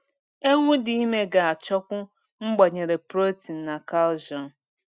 Ewu dị ime ga achọkwu mgbanyere protein na calcium